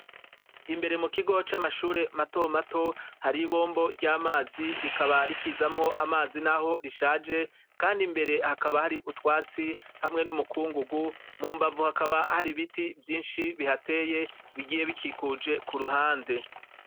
Imbere mukigo c’amashure matoto mato, haribombo ry’amazi rikaba rikizamwo amazi naho rishaje, kand’imbere hakaba har’utwatsi hamwe n’umukungugu, mumbavu hakaba har’ibiti vyinshi bihateye bigiye bikikuje kuruhande.